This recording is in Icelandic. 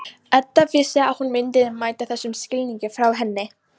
Edda vissi að hún myndi mæta þessum skilningi frá henni.